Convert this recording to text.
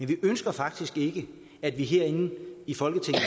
vi ønsker faktisk ikke at vi herinde i folketinget